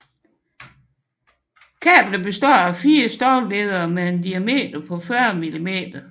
Kablet består af fire stålledere med en diameter på 40 millimeter